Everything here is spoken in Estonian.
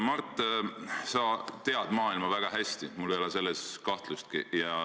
Mart, sa tunned maailma väga hästi, mul ei ole selles kahtlustki.